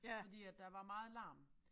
Fordi at der var meget larm